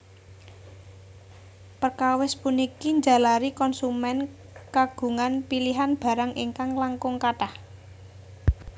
Perkawis puniki njalari konsumen kagungan pilihan barang ingkang langkung kathah